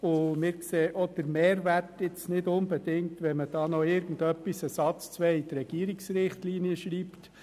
Wir sehen den Mehrwert auch nicht unbedingt, wenn man noch ein, zwei Sätze in die Regierungsrichtlinien schreibt.